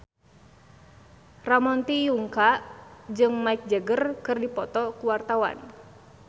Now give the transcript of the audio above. Ramon T. Yungka jeung Mick Jagger keur dipoto ku wartawan